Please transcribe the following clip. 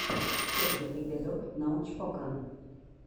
первый эпизод научпока